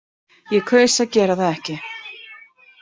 Ég kaus að gera það ekki.